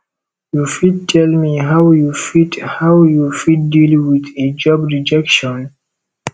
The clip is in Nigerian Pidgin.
you fit tell me how you fit how you fit deal with a job rejection